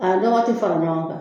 A lɔgɔ ti fara ɲɔgɔn kan